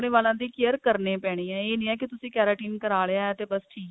ਵਾਲਾਂ ਦੀ care ਕਰਨੀ ਪੈਣੀ ਐ ਇਹ ਨਹੀਂ ਹੈ ਕਿ ਤੁਸੀ keratin ਕਰਾ ਲਿਆ ਤੇ ਬੱਸ ਠੀਕ